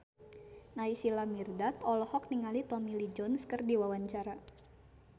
Naysila Mirdad olohok ningali Tommy Lee Jones keur diwawancara